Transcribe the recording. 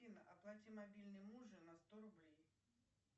афина оплати мобильный мужа на сто рублей